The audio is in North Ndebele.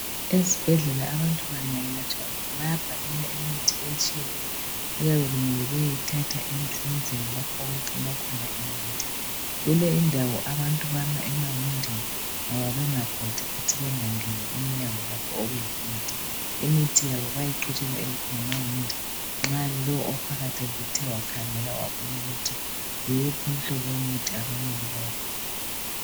Ezibhedlela abantu bangayelatshwa bayabhalelwa imithi etshiyeneyo okuyabe kumele bayethatha ezindlini lapho okugcinwa khona imithi. Kule indawo abantu bama emawindini ngoba bengabhodi futhi bengangeni emnyango okulemithi. Imithi yabo bayayiqhutshelwa ngamawindi nxa lowo ophakathi esethe wakhangela wabona ukuthi yiwuphi umhlobo abamele bawuphiwe.